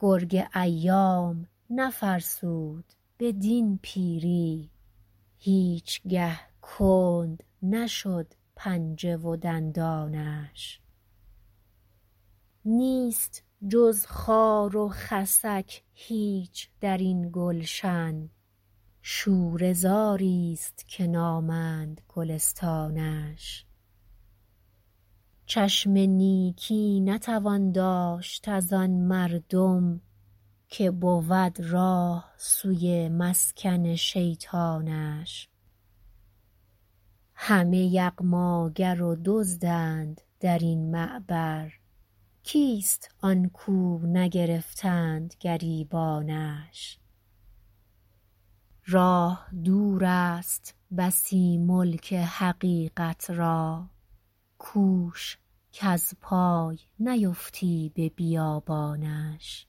گرگ ایام نفرسود بدین پیری هیچگه کند نشد پنجه و دندانش نیست جز خار و خسک هیچ درین گلشن شوره زاریست که نامند گلستانش چشم نیکی نتوان داشت از آن مردم که بود راه سوی مسکن شیطانش همه یغما گر و دزدند درین معبر کیست آنکو نگرفتند گریبانش راه دور است بسی ملک حقیقت را کوش کاز پای نیفتی به بیابانش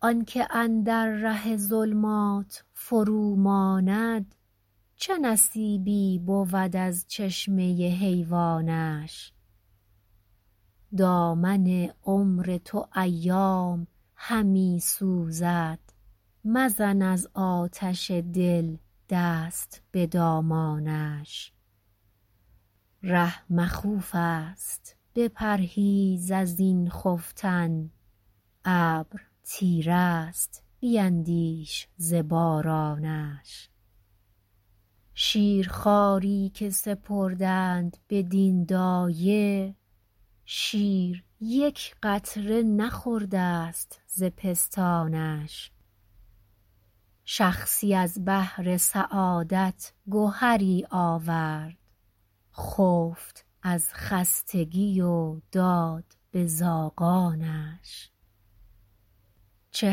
آنکه اندر ظلمات فرو ماند چه نصیبی بود از چشمه حیوانش دامن عمر تو ایام همی سوزد مزن از آتش دل دست بدامانش ره مخوفست بپرهیز ازین خفتن ابر تیره است بیندیش ز بارانش شیر خواری که سپردند بدین دایه شیر یک قطره نخوردست ز پستانش شخصی از بحر سعادت گهری آورد خفت از خستگی و داد بزاغانش چه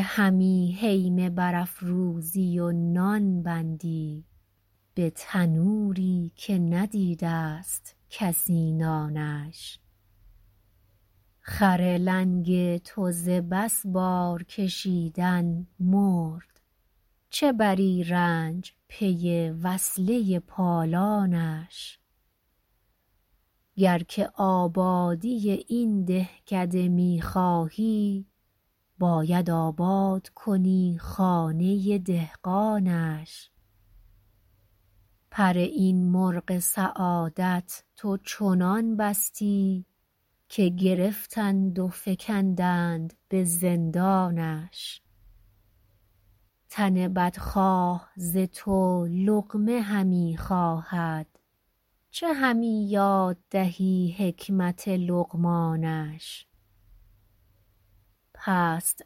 همی هیمه برافروزی و نان بندی به تنوری که ندیدست کسی نانش خرلنگ تو ز بس بار کشیدن مرد چه بری رنج پی وصله پالانش گر که آبادی این دهکده میخواهی باید آباد کنی خانه دهقانش پر این مرغ سعادت تو چنان بستی که گرفتند و فکندند بزندانش تن بدخواه ز تو لقمه همی خواهد چه همی یاد دهی حکمت لقمانش پست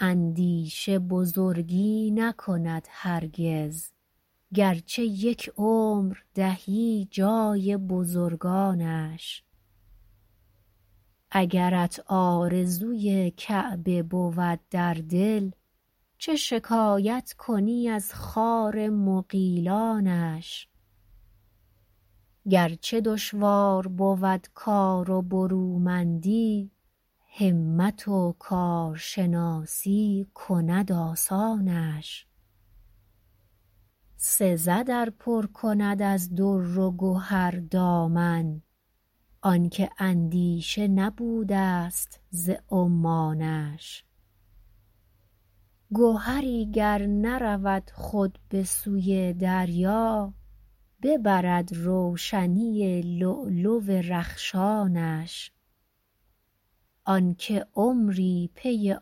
اندیشه بزرگی نکند هرگز گرچه یک عمر دهی جای بزرگانش اگرت آرزوی کعبه بود در دل چه شکایت کنی از خار مغیلانش گرچه دشوار بود کار و برومندی همت و کارشناسی کند آسانش سزد ار پر کند از در و گهر دامن آنکه اندیشه نبودست ز عمانش گهری گر نرود خود بسوی دریا ببرد روشنی لؤلؤ رخشانش آنکه عمری پی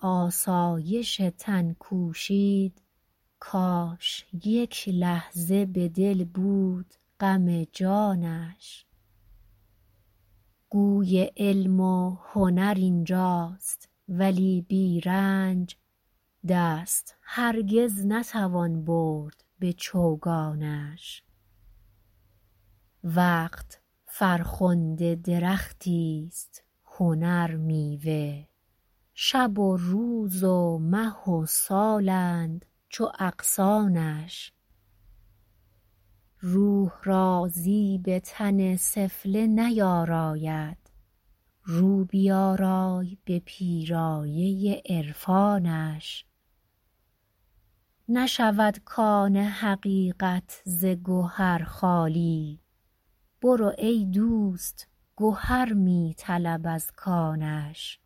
آسایش تن کوشید کاش یک لحظه بدل بود غم جانش گوی علم و هنر اینجاست ولی بیرنج دست هرگز نتوان برد بچوگانش وقت فرخنده درختی است هنر میوه شب و روز و مه و سالند چو اغصانش روح را زیب تن سفله نیاراید رو بیارای به پیرایه عرفانش نشود کان حقیقت ز گهر خالی برو ای دوست گهر میطلب از کانش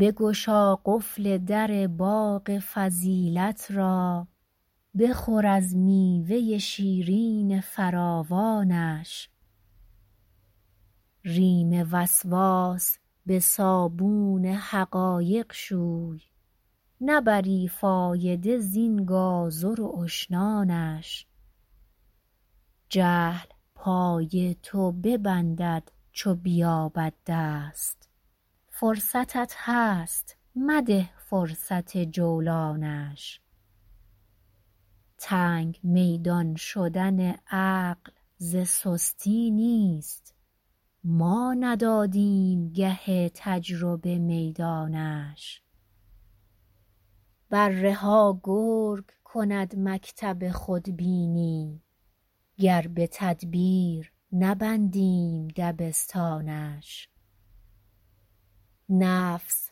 بگشا قفل در باغ فضیلت را بخور از میوه شیرین فراوانش ریم وسواس بصابون حقایق شوی نبری فایده زین گازر و اشنانش جهل پای تو ببندد چو بیابد دست فرصتت هست مده فرصت جولانش تنگ میدان شدن عقل ز سستی نیست ما ندادیم گه تجربه میدانش بره ها گرگ کند مکتب خودبینی گر بتدبیر نبندیم دبستانش نفس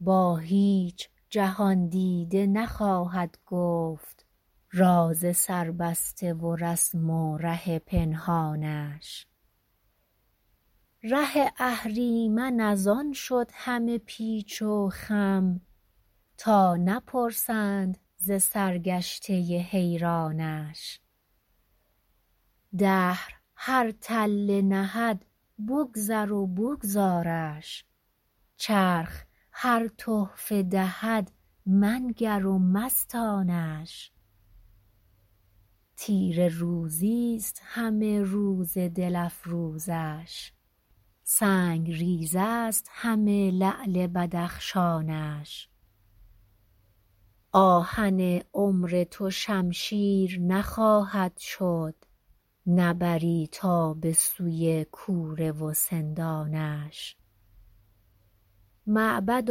با هیچ جهاندیده نخواهد گفت راز سر بسته و رسم و ره پنهانش ره اهریمن از آن شد همه پیچ و خم تا نپرسند ز سر گشته حیرانش دهر هر تله نهد بگذر و بگذارش چرخ هر تحفه دهد منگر و مستانش تیره روزیست همه روز دل افروزش سنگریزه است همه لعل بدخشانش آهن عمر تو شمشیر نخواهد شد نبری تا بسوی کوره و سندانش معبد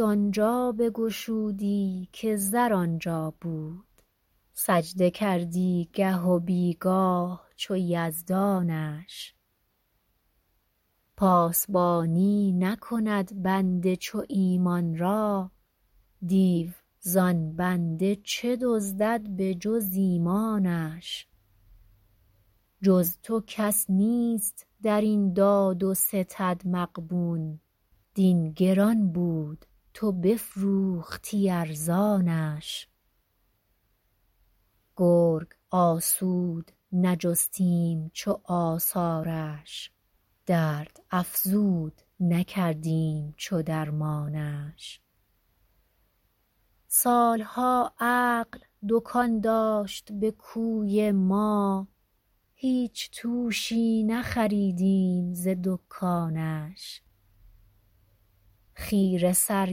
آنجا بگشودی که زر آنجا بود سجده کردی گه و بیگاه چو یزدانش پاسبانی نکند بنده چو ایمان را دیو زان بنده چه دزدد به جز ایمانش جز تو کس نیست درین داد و ستد مغبون دین گران بود تو بفروختی ارزانش گرگ آسود نجستیم چو آثارش درد افزود نکردیم چو درمانش سالها عقل دکان داشت بکوی ما بهچ توشی نخریدیم ز دکانش خیره سر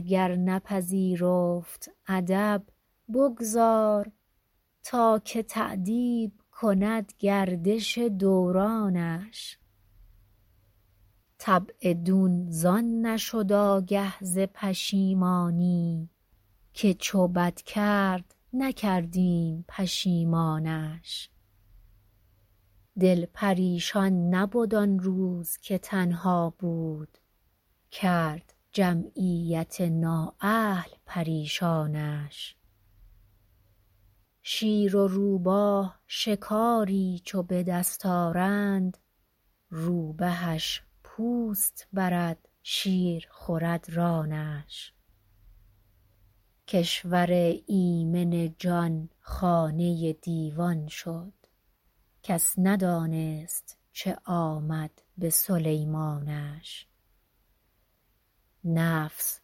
گر نپذیرفت ادب بگذار تا که تادیب کند گردش دورانش طبع دون زان نشد آگه ز پشیمانی که چو بد کرد نکردیم پشیمانش دل پریشان نبد آنروز که تنها بود کرد جمعیت نا اهل پریشانش شیر و روباه شکاری چو بدست آرند روبهش پوست برد شیر خورد رانش کشور ایمن جان خانه دیوان شد کس ندانست چه آمد به سلیمانش نفس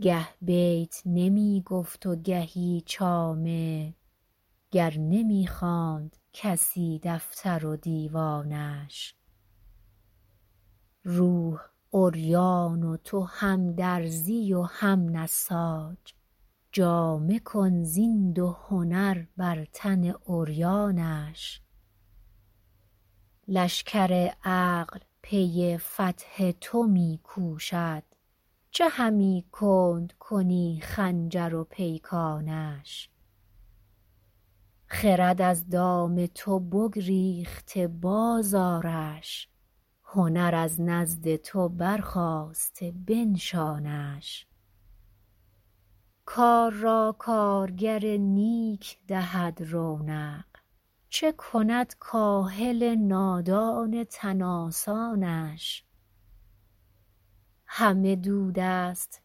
گه بیت نمیگفت و گهی چامه گر نمیخواند کسی دفتر و دیوانش روح عریان و تو هم درزی و هم نساج جامه کن زین دو هنر بر تن عریانش لشکر عقل پی فتح تو می کوشد چه همی کند کنی خنجر و پیکانش خرد از دام تو بگریخته باز آرش هنر از نزد تو برخاسته بنشانش کار را کارگر نیک دهد رونق چه کند کاهل نادان تن آسانش همه دود است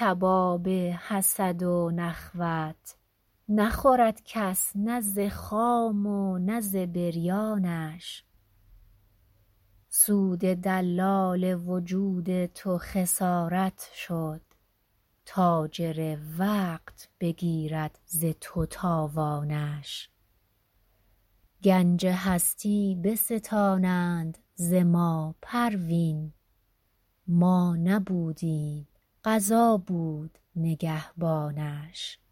کباب حسد و نخوت نخورد کس نه ز خام و نه ز بریانش سود دلال وجود تو خسارت شد تاجر وقت بگیرد ز تو تاوانش گنج هستی بستانند ز ما پروین ما نبودیم قضا بود نگهبانش